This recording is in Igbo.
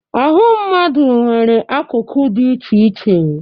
Ahụ mmadụ nwere akụkụ dịcha iche iche.